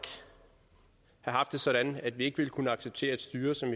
have haft det sådan at vi ikke ville kunne acceptere et styre som